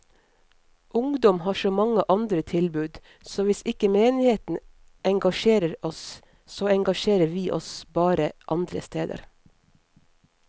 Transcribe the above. Ungdom har så mange andre tilbud, så hvis ikke menigheten engasjerer oss, så engasjerer vi oss bare andre steder.